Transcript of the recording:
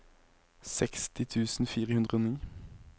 seksti tusen fire hundre og ni